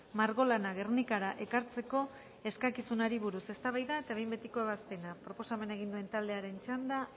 margolana gernikara ekartzeko eskakizunari buruz eztabaida eta behin betiko ebazpena proposamena egin duen taldearen txanda